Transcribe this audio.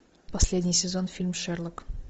последний сезон фильм шерлок